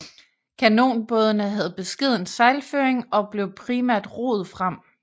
Kanonbådene havde beskeden sejlføring og blev primært roet frem